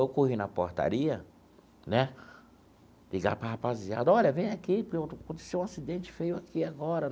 Eu corri na portaria né, ligar para a rapaziada, olha, vem aqui, aconteceu um acidente feio aqui agora.